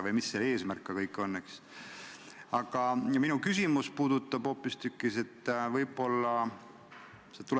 Tulenevalt eeltoodust tegi riigikaitsekomisjon oma k.a 21. oktoobri istungil konsensuslikult järgnevad menetluslikud otsused ja ettepanekud.